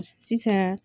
Sisan